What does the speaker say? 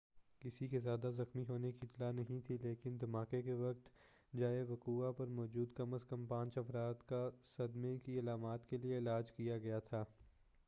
کسی کے زیادہ زخمی ہونے کی اطلاع نہیں تھی لیکن دھماکے کے وقت جائے وقوع پر موجود کم از کم پانچ افراد کا صدمے کی علامات کیلئے علاج کیا گیا تھا